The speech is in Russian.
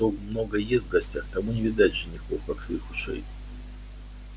а кто много ест в гостях тому не видать женихов как своих ушей